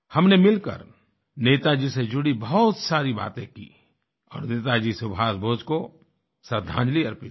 हमने मिलकर नेताजी से जुड़ी बहुत सारी बातें की और नेताजी सुभाष बोस को श्रद्दांजलि अर्पित की